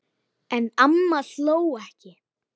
En amma hló ekki.